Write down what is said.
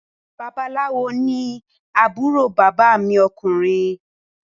Babaláwo ifá ní àbúrò bàbá mi ọkùnrin